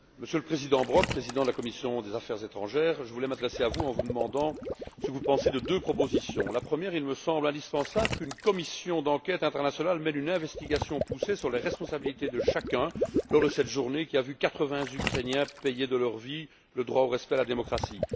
Monsieur le Président, Monsieur le Président de la commission des affaires étrangères, je voulais m'adresser à vous en vous demandant votre avis concernant deux propositions. Premièrement, il me semble indispensable qu'une commission d'enquête internationale mène une investigation poussée sur les responsabilités de chacun lors de cette journée, qui a vu quatre vingts Ukrainiens payer de leur vie le droit au respect et à la démocratie.